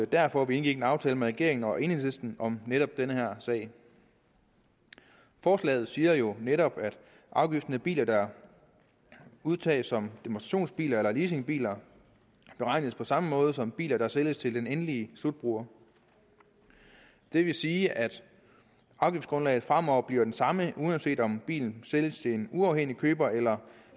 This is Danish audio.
derfor vi indgik en aftale med regeringen og enhedslisten om netop den her sag forslaget siger jo netop at afgiften på biler der udtages som demonstrationsbiler eller leasingbiler beregnes på samme måde som for biler der sælges til den endelige slutbruger det vil sige at afgiftsgrundlaget fremover bliver det samme uanset om bilen sælges til en uafhængig køber eller